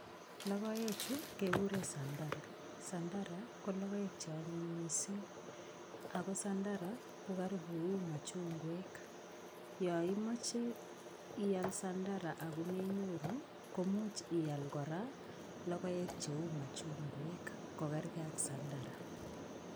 Logoechu kekure sandara. Sandara, ko logoek cheonyiny mising ako sandara ko karibu u machung'wek. Yoimoche ial sandara akomenyoru, komuch ial kora logoek cheu machung'wek, kokergei ak sandara.